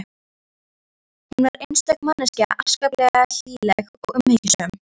Hún var einstök manneskja, ákaflega hlýleg og umhyggjusöm.